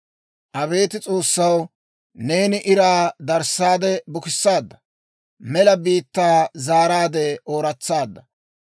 Abeet S'oossaw, neeni iraa darissaade bukissaadda; mela biittaa zaaraadde ooratsaadda.